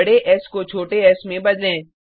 बडे एस को छोटे एस में बदलें